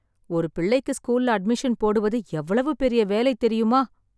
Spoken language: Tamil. ஒரு பிள்ளைக்கு ஸ்கூல்ல அட்மிஷன் போடுவது எவ்வளவு பெரிய வேலை தெரியுமா